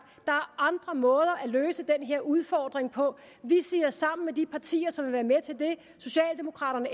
er andre måder at løse den her udfordring på vi siger sammen med de partier som vil være med til det socialdemokraterne